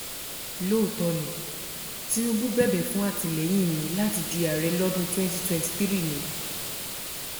lóòótọ́ ni tinubu bẹ̀bẹ̀ fún àtìlẹyìn mi láti di ààrẹ lọ́dún twenty twenty three ni